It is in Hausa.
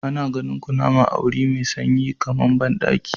Ana ganin kunama a wuri mai sanyi kamar bandaki.